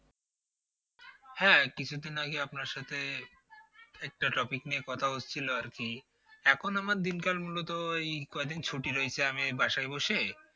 হ্যাঁ কিছুদিন আগে আপনার সাথে একটা topic নিয়ে কথা হচ্ছিল আর কি এখন আমার দিনকাল মূলত ওই কয়দিন ছুটি রয়েছে আমি এই বাসায় বসে